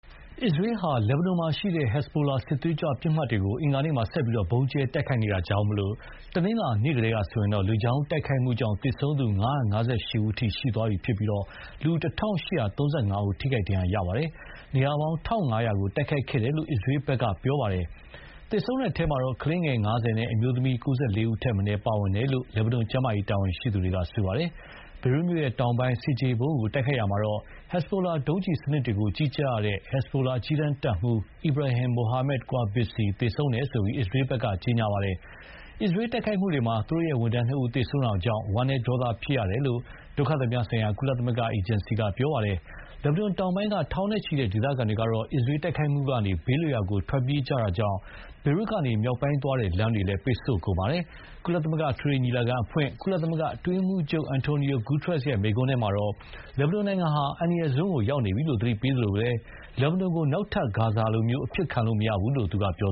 အစ္စရေးဟာ လက်ဘနွန်မှာရှိတဲ့ ဟက်ဇ်ဘိုလာစစ်သွေးကြွပစ်မှတ်တွေကို အင်္ဂါနေ့မှာ ဆက်ပြီး ဗုံးကြဲတိုက်ခိုက်နေတာကြောင့်, တနင်္လာနေ့ကတည်းကဆိုရင် လေကြောင်းတိုက်ခိုက်မှုကြောင့် သေဆုံးသူ ၅၅၈ ဦး အထိ ရှိသွားပြီး လူ ၁,၈၃၅ဦး ထိခိုက်ဒဏ်ရာရခဲ့ပါတယ်။ နေရာပေါင်း ၁,၅၀၀ ကို တိုက်ခိုက်ခဲ့တယ်လို့ အစ္စရေးက ပြောပါတယ်။ သေဆုံးတဲ့အထဲ ကလေးငယ် ၅၀ နဲ့ အမျိုးသမီး ၉၄ ဦးထက်မနည်း ပါဝင်တယ်လို့ လက်ဘနွန်ကျန်းမာရေးတာဝန်ရှိသူတွေက ပြောပါတယ်။ ဘေရွတ်မြို့တောင်ပိုင်း ဆင်ခြေဖုံးကိုတိုက်ခိုက်ရာမှာ ဟက်ဇ်ဘိုလာ ဒုံးကျည်စနစ်တွေကိုကြီးကြပ်ရတဲ့ ဟက်ဇ်ဘိုလာ အကြီးတန်းတပ်မှူး Ibrahim Muhammad Qubaisi သေဆုံးတယ်လို့ အစ္စရေးဘက်က ပြောပါတယ်။ အစ္စရေးတိုက်ခိုက်မှုတွေမှာ သူတို့ ဝန်ထမ်းနှစ်ဦး သေဆုံးတာကြောင့် ဝမ်နည်း ဒေါသဖြစ်ရတယ်လို့ ဒုက္ခသည်များဆိုင်ရာ ကုလအေဂျင်စီက ပြောပါတယ်။ လက်ဘနွန်တောင်ပိုင်းက ထောင်နဲ့ချီတဲ့ ဒေသခံတွေကတော့ အစ္စရေးတိုက်ခိုက်မှုကနေ ဘေးလွတ်ရာကို ထွက်ပြေးကြတာကြောင့် ဘေရွတ်ကနေ မြောက်ပိုင်းသွားတဲ့ လမ်းတွေပိတ်ဆို့ကုန်ပါတယ်။ ကုလသမဂ္ဂ အထွေထွေညီလာခံအဖွင့်ကုလ အတွင်းရေးမှူးချုပ် Antonio Guterres မိန့်ခွန်းထဲမှာတော့ လက်ဘနွန်နိုင်ငံဟာ အန္တရာယ်စွန်းကိုရောက်နေပြီလို့သတိပေးသလို လက်ဘနွန်ကို နောက်ထပ် ဂါဇာလို အဖြစ်ခံလို့မရဘူးလို့လည်း ပြော